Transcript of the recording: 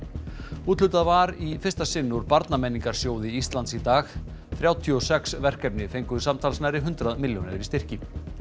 úthlutað var í fyrsta sinn úr Íslands í dag þrjátíu og sex verkefni fengu samtals nærri hundrað milljónir í styrki